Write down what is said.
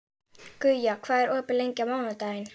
Guja, hvað er opið lengi á mánudaginn?